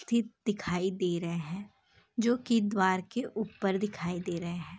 दिखाई दे रहे हैं जो कि द्वार के ऊपर दिखाई दे रहे हैं।